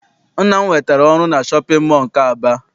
Nna m nwetara ọrụ na shọpịn mọọ nke Aba.